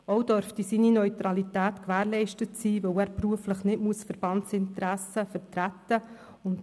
Auch dürfte seine Neutralität gewährleistet sein, weil er beruflich keine Verbandsinteressen vertreten muss.